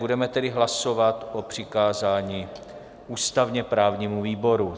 Budeme tedy hlasovat o přikázání ústavně-právnímu výboru.